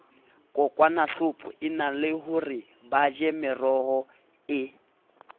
kokwanahloko enahore baje meroho e